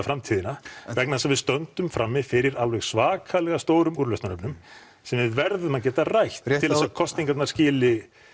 framtíðina vegna þess að við stöndum frammi fyrir alveg svakalega stórum úrlausnarefnum sem við verðum að geta rætt til þess að kosningarnar skili